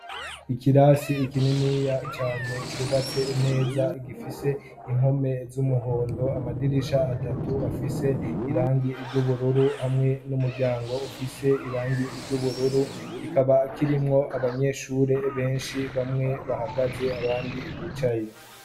Ikirasi ikinini cane cubatse neza gifise impome z'umuhondo amadirisha atatu afise irangi ryubururu hamwe n'umuryango ufise irangi iry'ubururu kikaba kirimwo abanyeshure benshi bamwe bahagaze abandi bicaye.